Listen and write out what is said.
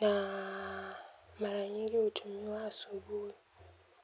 na mara nyingi utumiwa asubuhi.